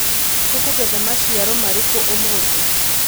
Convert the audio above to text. Tũkũgetha maciaro marĩkũ ũmũthĩ.